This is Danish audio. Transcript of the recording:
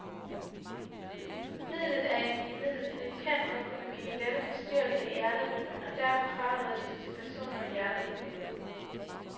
Midlet er imidlertid kendt for at kunne give lette forstyrrelser i hjerterytmen, og derfor frarådes det til personer med hjerteproblemer.